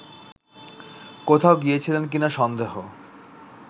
কোথাও গিয়েছিলেন কিনা সন্দেহ